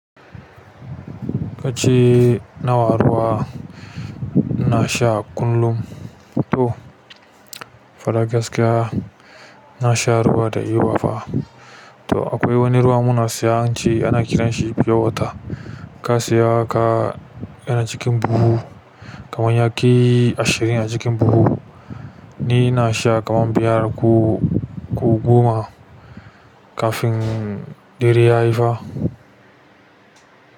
Kace nawa ruwa ina sha kullum faɗa gaskiya na sha ruwa da yawa fa. To akwai wani ruwa muna siyan shi ana kiran shi pure water. Ka siya ka yana cikin buhu kaman ya kai ashirin a cikin buhu. Ni ina sha kaman biyar ko goma kafin dare yayi fa.